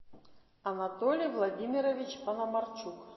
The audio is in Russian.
анатолий владимирович панамарчук